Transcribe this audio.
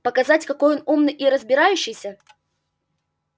показать какой он умный и разбирающийся